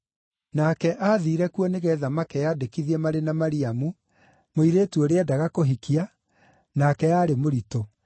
Nake aathiire kuo nĩgeetha makeyandĩkithie marĩ na Mariamu, mũirĩtu ũrĩa endaga kũhikia, nake aarĩ mũritũ.